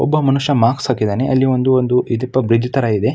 ಒಬ್ಬ ಮನುಷ್ಯ ಮಾಸ್ಕ ಹಾಕಿದ್ದಾನೆ ಅಲ್ಲಿ ಒಂದು ಐದುಪ ಬ್ರಿಜ್ ತರ ಇದೆ.